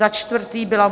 Za čtvrté byl